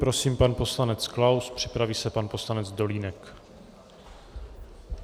Prosím, pan poslanec Klaus, připraví se pan poslanec Dolínek.